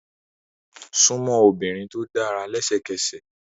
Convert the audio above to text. Súnmọ́ obìnrin tó dára lẹ́sẹ̀kẹsẹ̀!